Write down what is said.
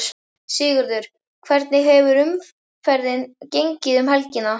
Sigurður, hvernig hefur umferðin gengið um helgina?